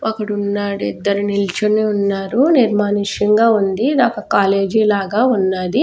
ఒక్కడు ఉన్నాడు ఇద్దరు నిల్చొనివున్నారునిర్మానుష్యంగా ఉంది ఇది ఒక్క కాలేజీ లాగా ఉన్నది.